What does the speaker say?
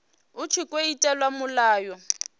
hu tshi tkhou itelwa mulayo